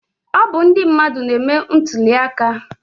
Ọ bụ ndị mmadụ na-eme ntuli aka